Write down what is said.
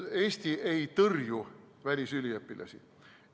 Eesti ei tõrju välisüliõpilasi.